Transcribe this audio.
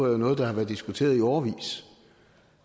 er noget der har været diskuteret i årevis